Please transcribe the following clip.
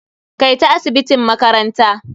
Kai ta asibitin makaranta.